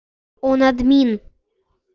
он админ